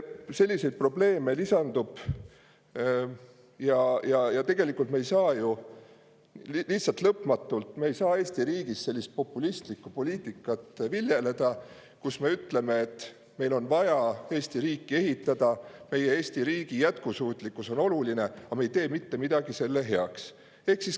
Selliseid probleeme lisandub ja tegelikult me ei saa Eesti riigis lihtsalt lõpmatult sellist populistlikku poliitikat viljeleda, kus me ütleme, et meil on vaja Eesti riiki ehitada, Eesti riigi jätkusuutlikkus on oluline, aga me ei tee mitte midagi selle heaks.